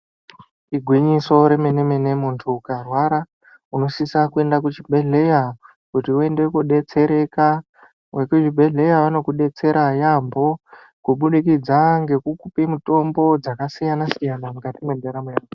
Igwinyiso remenemene muntu ukarwara unosisa kuenda kuchibhedleya kuti uyende kunodetsereka, vekuzvibhedleya vanokudetsera yaambo kubudikidza ngekukupe mitombo dzakasiyana siyana mukati mentaramo yedu.